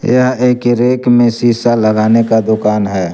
यह एक रैक में शीशा लगाने का दुकान है।